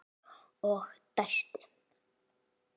Og dæsti.